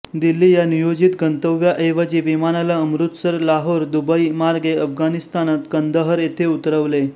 दिल्ली या नियोजित गंतव्याऐवजी विमानाला अमृतसर लाहोर दुबई मार्गे अफगाणिस्तानात कंदहर येथे उतरवले